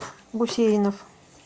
гусейнов